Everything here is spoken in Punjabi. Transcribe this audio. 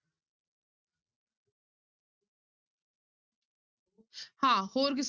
ਹਾਂ ਹੋਰ ਕਿਸ~